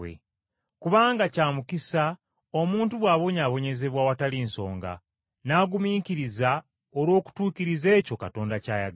Kubanga kya mukisa omuntu bw’abonyaabonyezebwa awatali nsonga, n’agumiikiriza olw’okutuukiriza ekyo Katonda ky’ayagala.